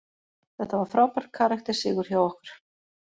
Þetta var frábær karakter sigur hjá okkur.